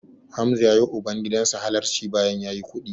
Hamza ya yiwa ubangidan sa halarci bayan ya yi kuɗi.